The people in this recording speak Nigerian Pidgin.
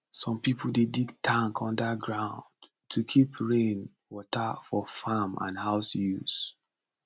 some people dey dig tank under ground to keep rain water for farm and house use